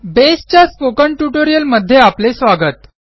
बेसच्या स्पोकन ट्युटोरियलमध्ये आपले स्वागत